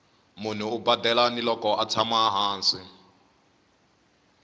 munhu u badela ni loko atshama hansi